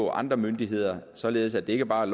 og andre myndigheder således at det ikke bare